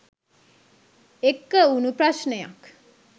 එක්ක වුණු ප්‍රශ්නයක්..